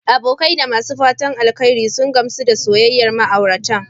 Abokai da masu fatan alheri sun gamsu da soyayyar matasan ma'auratan.